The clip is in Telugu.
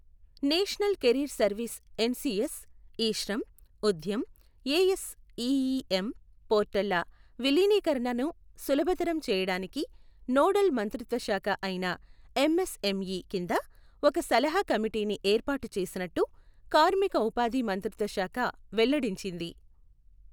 National career service NCS, e Shram, Udyam, ASEEM పోర్టళ్ళ విలీనీకరణను సులభతరం చేయడానికి నోడల్ మంత్రిత్వ శాఖ అయిన ఎంఎస్ఎంఇ కింద ఒక సలహా కమిటీని ఏర్పాటు చేసినట్టు కార్మిక ఉపాధి మంత్రిత్వ శాఖ వెల్లడించింది.